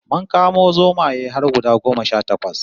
Mun kamo zomaye har guda goma sha takwas